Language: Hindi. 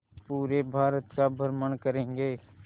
पूरे भारत का भ्रमण करेंगे